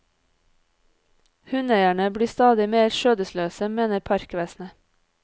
Hundeeierne blir stadig mer skjødesløse, mener parkvesenet.